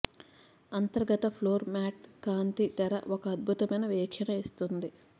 అంతర్గత floor mats కాంతి తెర ఒక అద్భుతమైన వీక్షణ ఇస్తుంది